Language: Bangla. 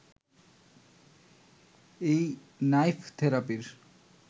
এই নাইফ থেরাপির